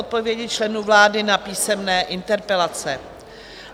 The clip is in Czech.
Odpovědi členů vlády na písemné interpelace